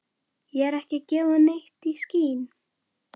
Ég er ekki að gefa neitt í skyn.